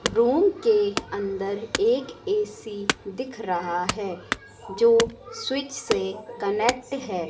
Room के अंदर एक एसी दिख रहा है जो स्विच से कनेक्ट है।